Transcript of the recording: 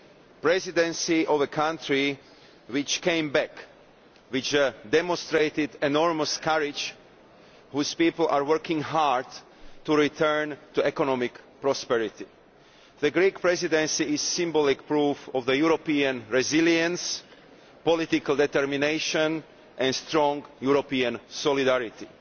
the presidency of the country which came back, which demonstrated enormous courage, and whose people are working hard to return to economic prosperity. The Greek Presidency is symbolic proof of European resilience, political determination and strong European solidarity.